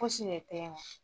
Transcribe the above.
Fosi de tɛ ye nɔ.